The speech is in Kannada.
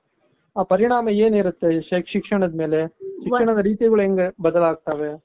ಪರಿಣಾಮ ಏನಿರುತ್ತೆ ಈ ಶಿಕ್ಷಣದ ಮೇಲೆ, ಶಿಕ್ಷಣದ ರೀತಿಗಳು ಹೆಂಗೆ ಬದಲಾಗ್ತಾವೆ